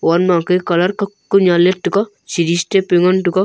wan ma ke calar kak ku nya lyet tega siri step pe ngan tega.